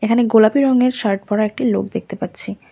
এখানে গোলাপি রঙের শার্ট পরা একটি লোক দেখতে পাচ্ছি।